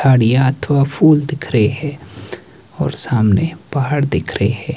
झाड़ियां अथवा फुल दिख रहे और सामने पहाड़ दिख रहे हैं।